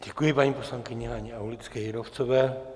Děkuji paní poslankyni Haně Aulické Jírovcové.